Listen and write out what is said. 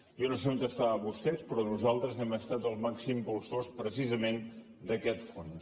jo no sé on estaven vostès però nosaltres hem estat els màxims impulsors precisament d’aquest fons